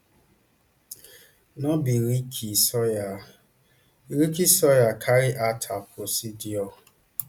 no be ricky sawyer ricky sawyer carry out her procedure